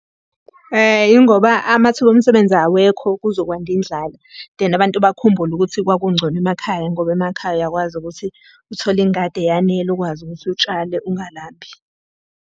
Yingoba amathuba omsebenzi awekho kuzokwanda indlala, then abantu bakhumbule ukuthi kwakungcono emakhaya ngoba emakhaya uyakwazi ukuthi uthole ingadi eyanele ukwazi ukuthi utshale ungalambi.